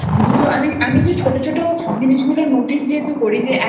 দুটো আমি যেহেতু ছোট ছোট জিনিস গুলো Notice যেহেতু